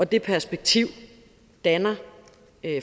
det perspektiv danner